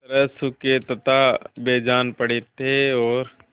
तरह सूखे तथा बेजान पड़े थे और